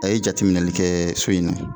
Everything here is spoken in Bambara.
A ye jateminɛli kɛ so in na